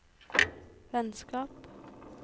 vennskap